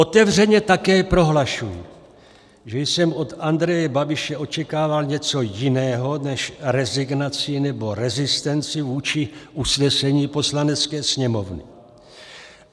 Otevřeně také prohlašuji, že jsem od Andreje Babiše očekával něco jiného než rezignaci nebo rezistenci vůči usnesení Poslanecké sněmovny.